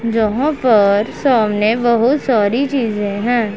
जहां पर सामने बहोत सारी चीजें हैं।